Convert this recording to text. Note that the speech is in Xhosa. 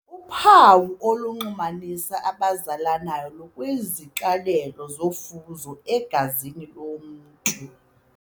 Uphawu olunxulumanisa abazalanayo lukwiziqalelo zofuzo egazini lomntu.